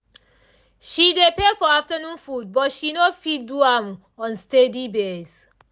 she dey pay for afternoon food but she no fit do am on steady base